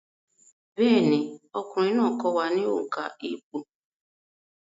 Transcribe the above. Bẹ́ẹ̀ni, ọkùnrin náà kọ́ wa ní òǹkà ìpò